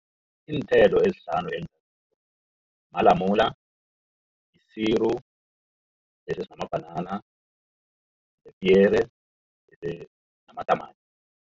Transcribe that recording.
Iinthelo ezihlanu malamula, isiri, bese sinamabhanana, nepiyere namatamati.